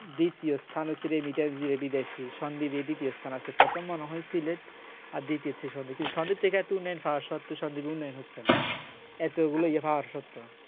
দ্বিতীয় স্থান হচ্ছে এই বেটা এই বিদেশির সন্দীপেরই এই স্থান আছে ফতেম্মা নহই সিলেট দিতেছে সন্দীপ থেকে এত উন্নয়ন হওয়া সত্ত্বে সন্দ্বীপে উন্নয়ন হচ্ছে না এতগুলো ইয়ে পাওয়ার সত্ত্বেও